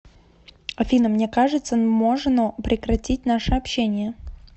афина мне кажется нможно прекратить наше общение